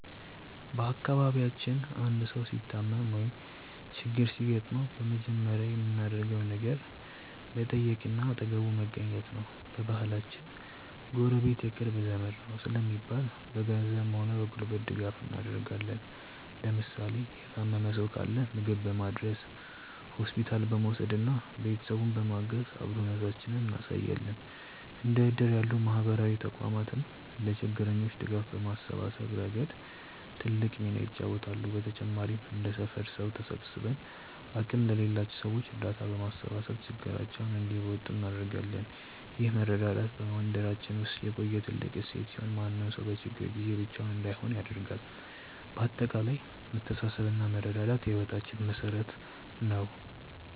በአካባቢያችን አንድ ሰው ሲታመም ወይም ችግር ሲገጥመው በመጀመሪያ የምናደርገው ነገር መጠየቅና አጠገቡ መገኘት ነው። በባህላችን "ጎረቤት የቅርብ ዘመድ ነው" ስለሚባል፣ በገንዘብም ሆነ በጉልበት ድጋፍ እናደርጋለን። ለምሳሌ የታመመ ሰው ካለ ምግብ በማድረስ፣ ሆስፒታል በመውሰድና ቤተሰቡን በማገዝ አብሮነታችንን እናሳያለን። እንደ እድር ያሉ ማህበራዊ ተቋማትም ለችግረኞች ድጋፍ በማሰባሰብ ረገድ ትልቅ ሚና ይጫወታሉ። በተጨማሪም እንደ ሰፈር ሰው ተሰባስበን አቅም ለሌላቸው ሰዎች እርዳታ በማሰባሰብ ችግራቸውን እንዲወጡ እናደርጋለን። ይህ መረዳዳት በመንደራችን ውስጥ የቆየ ትልቅ እሴት ሲሆን፣ ማንም ሰው በችግር ጊዜ ብቻውን እንዳይሆን ያደርጋል። በአጠቃላይ መተሳሰብና መረዳዳት የህይወታችን መሠረት ነው።